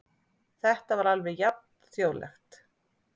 Þetta var alveg jafn þjóðlegt.